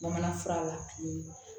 Bamanan fura la